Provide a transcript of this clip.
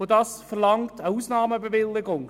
Dies erfordert eine Ausnahmebewilligung.